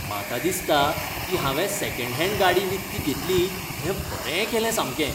म्हाका दिसता की हांवें सॅकॅंड हॅंड गाडी विकती घेतली तें बरें केलें सामकें.